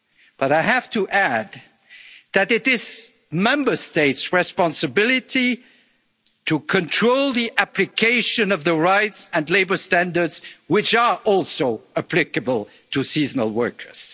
in this regard. But I have to add that it is Member States' responsibility to control the application of the rights and labour standards which are also applicable to